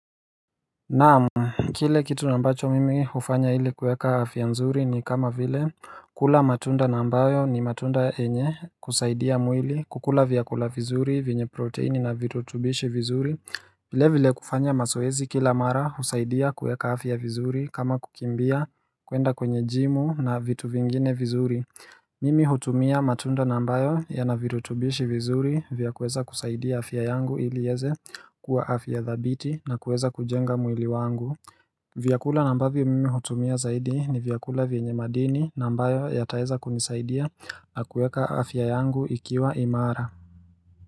Naamu, kile kitu nambacho mimi hufanya ili kueka hafiya nzuri ni kama vile kula matunda nambayo ni matunda enye kusaidia mwili kukula viyakula vizuri vinyo proteini na vitutubishi vizuri vile vile kufanya masoezi kila mara husaidia kueka hafi ya vizuri kama kukimbia kuenda kwenye jimu na vitu vingine vizuri Mimi hutumia matunda nambayo ya na virutubishi vizuri vya kueza kusaidia hafiya yangu ilieze kuwa afya dhabiti na kueza kujenga mwili wangu. Vyakula nambavyo mimi hutumia zaidi ni vyakula vienye madini nambayo yataeza kunisaidia nakuweka afya yangu ikiwa imara.